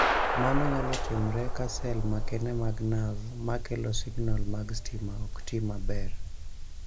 Mano nyalo timore ka sel makende mag nerve ma kelo signal mag stima ok ti maber.